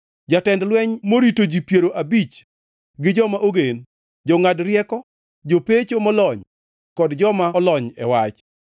jatend lweny morito ji piero abich gi joma ogen, jongʼad rieko, jopecho molony kod joma olony e wach.